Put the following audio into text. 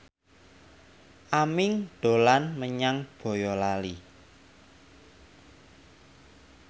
Aming dolan menyang Boyolali